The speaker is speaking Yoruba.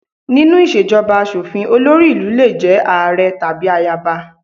Nínú ìṣèjọba aṣòfin, olórí ìlú lè jẹ́ ààrẹ àbí ayaba